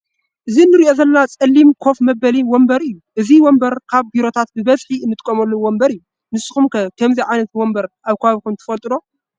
እዚ እንርእዮ ዘለና ፀሊም ኮፍ መበሊ ወንበር እዩ። እዚ ወንበር ኣብ ቢሮታት ብበዝሒ አንጥቀመሉ ወንበር እዩ። ንስኩም ከ ከምዚ ዓይነት ወንበር ኣብ ከባቢኩም ተጥቀሙ ዶ?